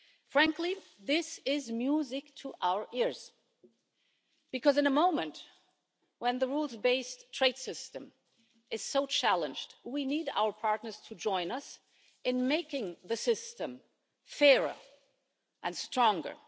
Frankly, this is music to our ears, because at a moment when the rules based trade system is so challenged, we need our partners to join us in making the system fairer and stronger.